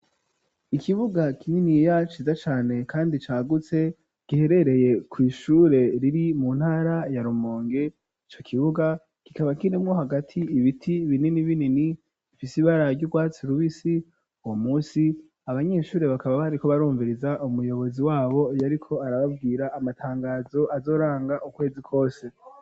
Ikibuga kininiya ciza cane kandi cagutse giherereye kwishure riri mu ntara ya Rumonge ico kibuga kikaba kirimwo hagati ibiti binini binini bifise ibara ry'ubwatsi rubisi uwo munsi abanyeshure bakaba bariko barumviriza umuyobozi wabo yariko arababwira amatangazo azoranga ukwezi kose.